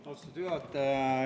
Austatud juhataja!